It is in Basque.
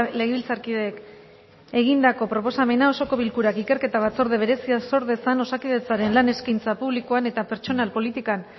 legebiltzarkideek egindako proposamena osoko bilkurak ikerketa batzorde berezia sor dezan osakidetzaren lan eskaintza publikoan eta pertsonal politikan